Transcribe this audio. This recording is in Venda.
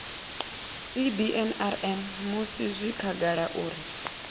cbnrm musi zwi khagala uri